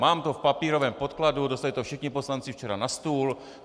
Mám to v papírovém podkladu, dostali to všichni poslanci včera na stůl.